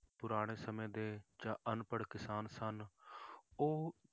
ਪੁਰਾਣੇ ਸਮੇਂ ਦੇ ਜਾਂ ਅਨਪੜ੍ਹ ਕਿਸਾਨ ਸਨ ਉਹ